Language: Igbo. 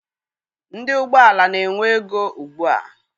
Ndị ụgbọala na-enwe ego ugbua.